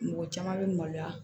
Mɔgɔ caman bɛ maloya